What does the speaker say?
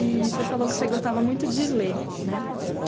E você falou que você gostava muito de ler, né? É